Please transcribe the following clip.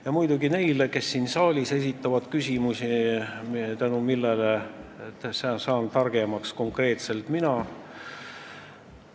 Ja muidugi aitäh neile, kes siin saalis esitavad küsimusi, tänu millele saan targemaks konkreetselt mina.